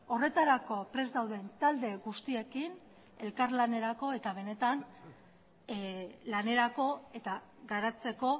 horretarako prest dauden talde guztiekin elkarlanerako eta benetan lanerako eta garatzeko